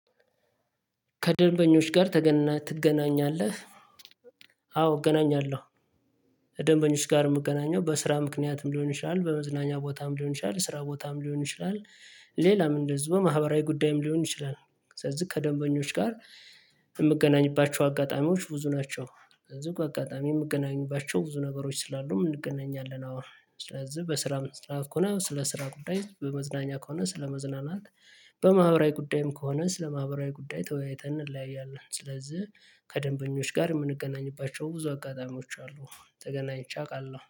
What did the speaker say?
ከደንበኞች ጋር ትገናኛለህ? አዎ እገናኛለሁ። ከደንበኞች ጋር የምገናኘው በስራ ምክንያትም ሊሆን ይችላል በመዝናኛ ቦታም ሊሆን ይችላል ስራ ቦታም ሊሆን ይችላል። ሌላም እንደዚሁ በማህበራዊ ጉዳይም ሊሆን ይችላል። ሰለዚህ ከደንበኞች ጋር የምገናኝባቸው አጋጣሚዎች ብዙ ናቸው። እዚህ አጋጣሚ የምገናኝባቸው ብዙ ነገሮች ስላሉም እንገናኛለን። አዎ ስለዚህ በስራ መጽሐፍ ከሆነ ስለ ስራ ጉዳይ በመዝናኛ ከሆነ ስለ መዝናናት በማህበራዊ ጉዳይም ከሆነ ስለ ማህበራዊ ጉዳይ ተወያይተን እንለያያለን። ስለዚህ ከደንበኞች ጋር የምንገናኝባቸው ብዙ አጋጣሚዎች አሉ ተገናኝቼ አውቃለሁ